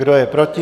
Kdo je proti?